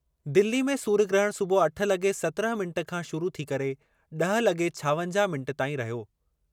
दिल्ली में सूर्य ग्रहण सुबुह अठ लगे॒ सत्रहं मिंट खां शुरू थी करे ड॒ह लगे॒ छावंजाह मिंट ताईं रहियो।